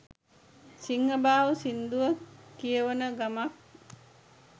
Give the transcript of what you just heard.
සිංහබාහු සිංදුව කියවන ගමන්